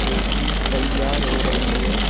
जोकि तैयार हो रही है।